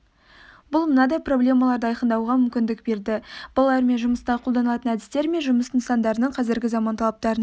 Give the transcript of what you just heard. бұл мынадай проблемаларды айқындауға мүмкіндік берді балалармен жұмыста қолданылатын әдістер мен жұмыс нысандарының қазіргі заман талаптарына